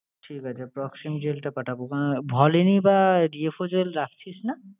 ঠিক আছে proxym gel টা পাঠাবো। ওখানে volini বা DFO gel রাখছিস না?